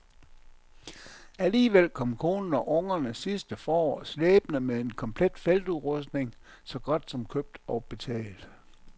Alligevel kom konen og ungerne sidste forår slæbende med en komplet feltudrustning, så godt som købt og betalt.